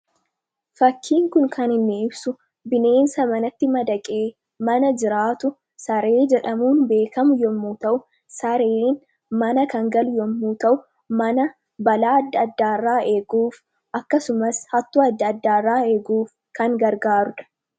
Fakkiin kun kan inni ibsu, bineensa manatti madaqee mana jiraatu saree jedhamuun beekamu yommuu ta'u, sareen mana kan galu yommuu ta'u mana balaa adda addaa irraa eeguuf akkasumas hattuu adda addaa irraa eeguuf kan gargaarudha.